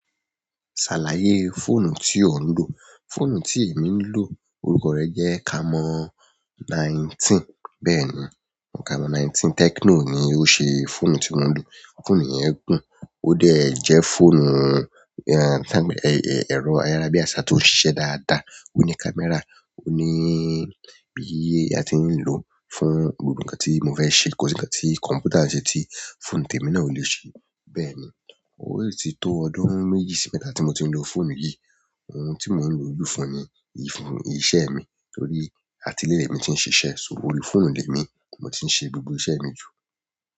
Ṣàlàyé fóònù tí ò ń lò. Fóònù tí èmi ń lò orúkọ rẹ jẹ́ Camon nineteen. Bẹ́ẹ̀ni, Camon nineteen Tecno ni ó ṣe fóònù tí mo ń lò. Fóònù yẹn gùn, ó dẹ̀ jẹ́ fóònù, ẹ̀rọ ayárabíàṣá tó ń ṣiṣẹ́ dáadáa. Ó ní kámẹ́rà, ó ní bí a ti ń lò fún gbogbo nǹkan tí mo fẹ́ ṣe. Kosi ǹkan tí kọ̀m̀pútà ṣe tí fóònù tèmi náà ò lè ṣe. Bẹ́ẹ̀ni, ó ti tó ọdún méjì sí mẹ́ta tí mo ti ń lo fóònù yìí. Ohun tí mò ń lo ju fún ni, iṣẹ́ mi torí àti ilé mo tí ń ṣiṣẹ́, so òri fóònù tèmi mo ti ń ṣe gbogbo iṣẹ́ mi jù.